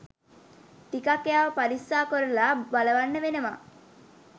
ටිකක් එයාව පරිස්සාකොරලා බලවන්න වෙනවා